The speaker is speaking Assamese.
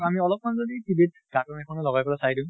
আমি অলপ্মান যদি TV cartoon এইনো লগাই পালে চাই দিওঁ